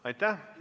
Aitäh!